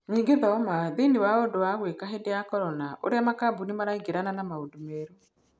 Nyingi thoma: Thĩini wa ũndũ wa gwĩka hĩndĩ ya korona -ũrĩa makambuni maraingĩrana na maũndũ merũ.